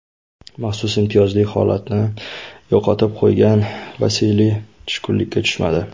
Maxsus imtiyozli holatini yo‘qotib qo‘ygan Vasiliy tushkunlikka tushmadi.